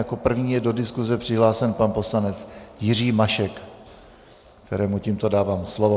Jako první je do diskuse přihlášen pan poslanec Jiří Mašek, kterému tímto dávám slovo.